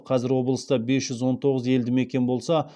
қазір облыста бес жүз он тоғыз елді мекен болса